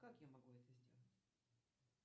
как я могу это сделать